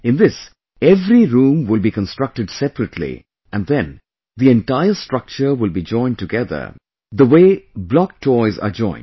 In this, every room will be constructed separately and then the entire structure will be joined together the way block toys are joined